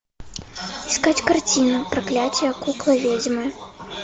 искать картину проклятие куклы ведьмы